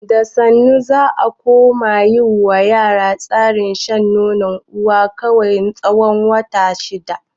Da sannu za a koma yi ma yara tsarin shan nonon uwa kawai na tsawon wata shida.